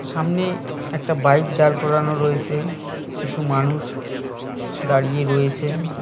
সামনে একটা বাইক দাঁড় করানো রয়েছে কিছু মানুষ দাঁড়িয়ে রয়েছেন।